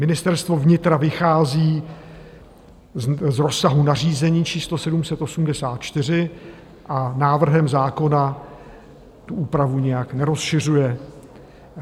Ministerstvo vnitra vychází z rozsahu nařízení číslo 784 a návrhem zákona tu úpravu nijak nerozšiřuje.